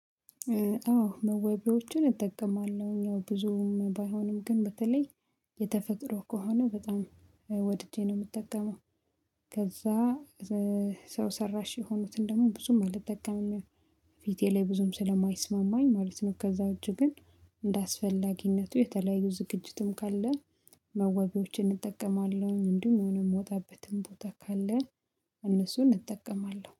አዎ መዋቢያዎችን እጠቀማለሁ ያው ብዙም ባይሆንም ግን በተለይ የተፈጥሮ ከሆነ በጣም ወድጄ ነው የምጠቀመው። ከዛ ሰው ሰራሽ የሆኑትን ደግሞ ብዙም አልጠቀምም በፊቴ ላይ ብዙም ስለማይስማማኝ ማለት ነው። ከዛ እጅ ግን እንደ አስፈላጊነቱ የተለያዩ ዝግጅትም ካለ መዋቢያዎችን እጠቀማለሁ። እንዲሁም ሆነ የምወጣበትም ቦታ ካለ እነሱን እጠቀማለሁ